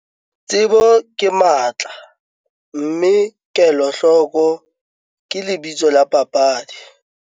Tsebo ke matla, mme KELOHLOKO ke lebitso la papadi!